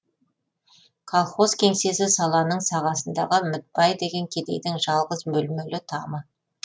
колхоз кеңсесі саланың сағасындағы мүтбай деген кедейдің жалғыз бөлмелі тамы